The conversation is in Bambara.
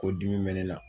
Ko dimi bɛ ne la